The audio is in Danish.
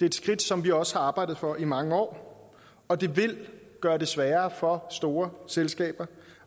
et skridt som vi også har arbejdet for i mange år og det vil gøre det sværere for store selskaber